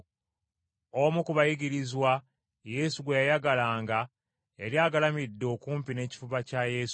Omu ku bayigirizwa, Yesu gwe yayagalanga, yali agalamidde okumpi n’ekifuba kya Yesu,